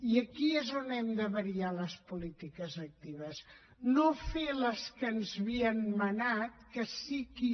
i aquí és on hem de variar les polítiques actives no fer les que ens havien manat que sí que aquí